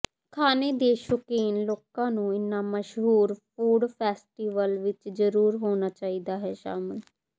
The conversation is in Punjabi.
ਖਾਣੇ ਦੇ ਸ਼ੌਕੀਨ ਲੋਕਾਂ ਨੂੰ ਇਨ੍ਹਾਂ ਮਸ਼ਹੂਰ ਫ਼ੂਡ ਫੈਸਟੀਵਲ ਵਿਚ ਜਰੂਰ ਹੋਣਾ ਚਾਹੀਦਾ ਹੈ ਸ਼ਾਮਿਲ